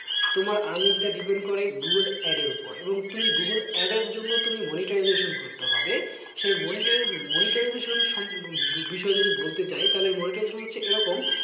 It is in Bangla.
তোমার earning টা depend করে google add এর ওপরে এবং তুমি google add এর জন্য তুমি monetization করতে হবে সেই moniti, monetization এর বিষয়ে যদি বলতে চায় তাহলে monetization হচ্ছে এরকম,